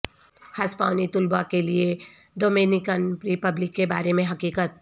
ہسپانوی طلباء کے لئے ڈومینیکن رپبلک کے بارے میں حقیقت